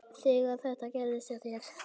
Þegar þetta gerðist hjá þér.